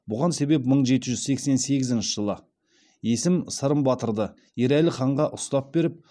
бұған себеп мың жеті жүз сексен сегізінші жылы есім сырым батырды ерәлі ханға ұстап беріп